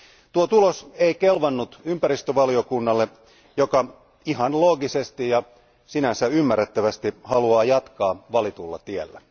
Tuo tulos ei kelvannut ympäristövaliokunnalle, joka ihan loogisesti ja sinänsä ymmärrettävästi haluaa jatkaa valitulla tiellä.